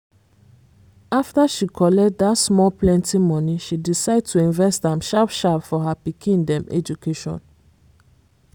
afta she collect dat small plenty money she decide to invest am sharp-sharp for her pikin dem education